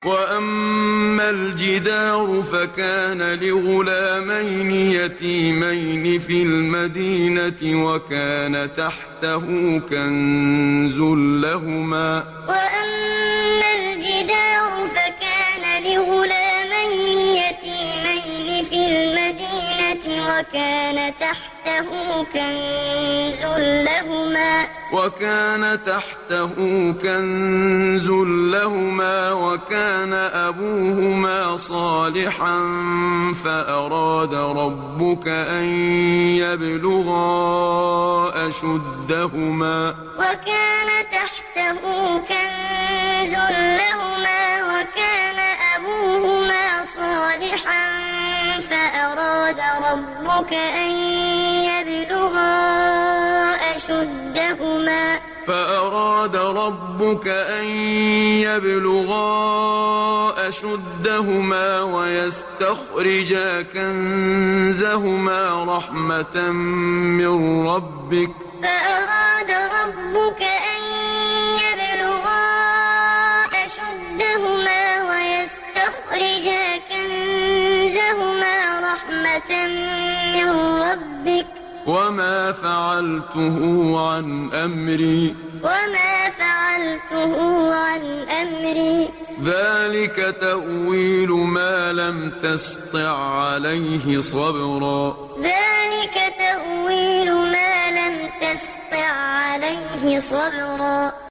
وَأَمَّا الْجِدَارُ فَكَانَ لِغُلَامَيْنِ يَتِيمَيْنِ فِي الْمَدِينَةِ وَكَانَ تَحْتَهُ كَنزٌ لَّهُمَا وَكَانَ أَبُوهُمَا صَالِحًا فَأَرَادَ رَبُّكَ أَن يَبْلُغَا أَشُدَّهُمَا وَيَسْتَخْرِجَا كَنزَهُمَا رَحْمَةً مِّن رَّبِّكَ ۚ وَمَا فَعَلْتُهُ عَنْ أَمْرِي ۚ ذَٰلِكَ تَأْوِيلُ مَا لَمْ تَسْطِع عَّلَيْهِ صَبْرًا وَأَمَّا الْجِدَارُ فَكَانَ لِغُلَامَيْنِ يَتِيمَيْنِ فِي الْمَدِينَةِ وَكَانَ تَحْتَهُ كَنزٌ لَّهُمَا وَكَانَ أَبُوهُمَا صَالِحًا فَأَرَادَ رَبُّكَ أَن يَبْلُغَا أَشُدَّهُمَا وَيَسْتَخْرِجَا كَنزَهُمَا رَحْمَةً مِّن رَّبِّكَ ۚ وَمَا فَعَلْتُهُ عَنْ أَمْرِي ۚ ذَٰلِكَ تَأْوِيلُ مَا لَمْ تَسْطِع عَّلَيْهِ صَبْرًا